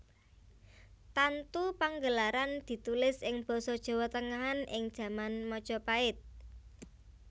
Tantu Panggelaran ditulis ing basa Jawa tengahan ing jaman Majapahit